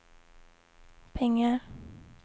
pengar